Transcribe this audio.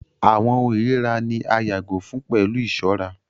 Àwọn ohùn irira ni a yàgò fun pẹlu iṣọra